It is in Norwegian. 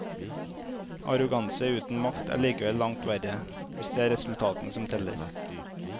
Arroganse uten makt er likevel langt verre, hvis det er resultatene som teller.